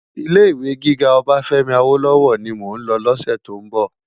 Ilé Iwé gigá Obafemi Awolowo ni mó n lò lòsè tó n bò